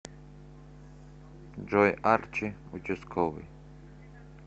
джой арчи участковый